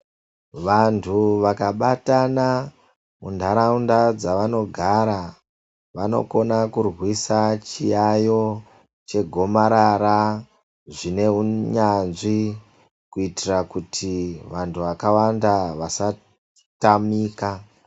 Vantu vakabatana muntaraunda dzavanogara, vanokona kurwisa chiyaiyo chegomarara zvineunyanzvi kuitira kuti vantu vakawanda vasatamika.